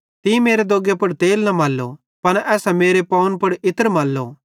तीं मेरे दोग्गे पुड़ तेल न मल्लो पन एसां मेरे पावन पुड़ इत्र मल्लो